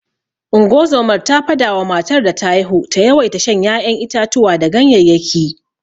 Ungozomar ta fada wa matar da ta haihu ta yawaita shan ya'yan itatuwa da ganyeyyaki.